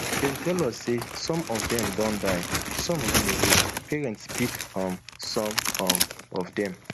dem tell us sau some of dem don die some run away parents pick um some um of dem